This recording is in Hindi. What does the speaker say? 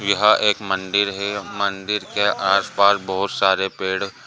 यह एक मंदिर है। मंदिर के अंदर आस-पास बहुत सारे पेड़ --